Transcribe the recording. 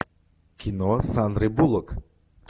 кино с сандрой буллок